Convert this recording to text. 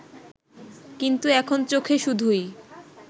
কিন্তু এখন চোখে শুধুই